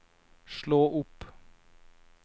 slå opp